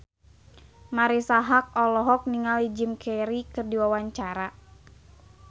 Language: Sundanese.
Marisa Haque olohok ningali Jim Carey keur diwawancara